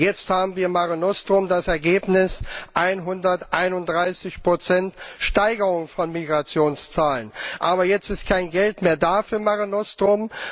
Jetzt haben wir Mare Nostrum das Ergebnis 131 Steigerung der Migrationszahlen. Aber jetzt ist kein Geld mehr da für Mare Nostrum.